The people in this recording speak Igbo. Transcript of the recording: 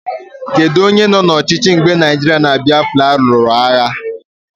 Kedụ onye nọ n'ọchịchị mgbe Naijiria na Biafra lụrụ agha?